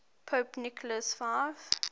pope nicholas v